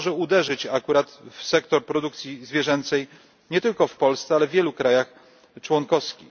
To może uderzyć akurat w sektor produkcji zwierzęcej nie tylko w Polsce, ale w wielu krajach członkowskich.